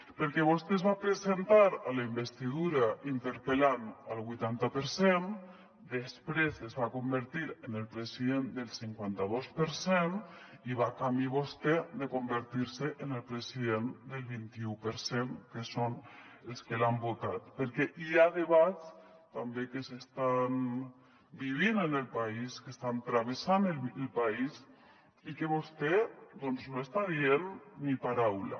perquè vostè es va presentar a la investidura interpel·lant al vuitanta per cent després es va convertir en el president del cinquanta dos per cent i va camí vostè de convertir se en el president del vint i u per cent que són els que l’han votat perquè hi ha debats també que s’estan vivint en el país que estan travessant el país i que vostè no està dient ni paraula